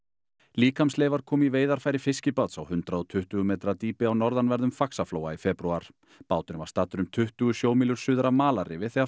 líkamsleifar komu í veiðarfæri fiskibáts á hundrað og tuttugu metra dýpi á norðanverðum Faxaflóa í febrúar báturinn var staddur um tuttugu sjómílur suður af malarrifi þegar